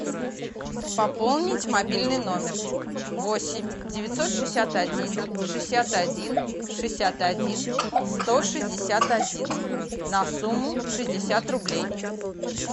пополнить мобильный номер восемь девятьсот шестьдесят один шестьдесят один шестьдесят один сто шестьдесят один на сумму шестьдесят рублей